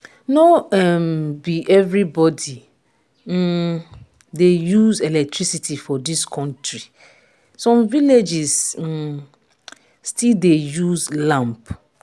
no um be everybody um dey use electricity for dis country some villages um still dey use lamp.